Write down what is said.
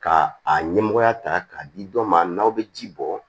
Ka a ɲɛmɔgɔya ta k'a di dɔ ma n'aw bɛ ji bɔ